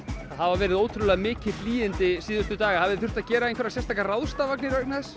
hafa verið ótrúlega mikil hlýindi síðustu daga hafið þið þurft að gera einhverjar sérstakar ráðstafanir vegna þess